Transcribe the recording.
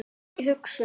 Ekki hugsun.